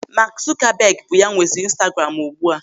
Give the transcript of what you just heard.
Maak Zukabeg bụ ya nwezi Instaguram ugbu a.